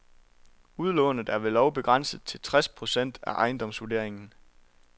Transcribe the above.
Udlånet er ved lov begrænset til tres procent af ejendomsvurderingen.